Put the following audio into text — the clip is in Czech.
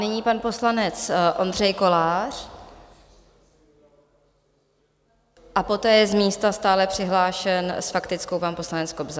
Nyní pan poslanec Ondřej Kolář a poté je z místa stále přihlášen s faktickou pan poslanec Kobza.